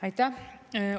Aitäh!